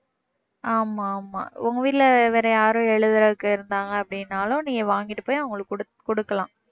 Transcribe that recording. ஆமாம் ஆமாம் உங்க வீட்ல வேற யாரும் எழுதுறதுக்கு இருந்தாங்க அப்படினாலும் நீங்க வாங்கிட்டு போய் அவங்களுக்கு குடுக்~ குடுக்கலாம்